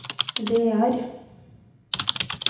Vear